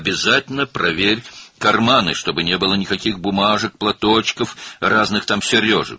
Mütləq cibləri yoxla ki, heç bir kağız parçası, yaylıq, müxtəlif sırğalar olmasın.